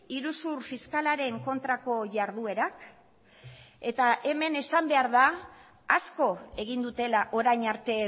iruzur fiskalaren kontrako jarduerak eta hemen esan behar da asko egin dutela orain arte